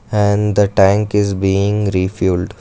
and the tank is being refuelled.